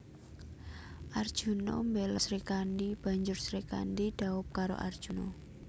Arjuna mbela Srikandhi banjur Srikandhi dhaup karo Arjuna